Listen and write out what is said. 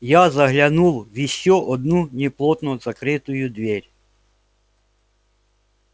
я заглянул в ещё одну неплотно закрытую дверь